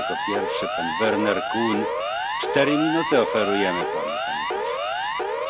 Herr Präsident, Herr Kommissar Vella, verehrte Kolleginnen und Kollegen!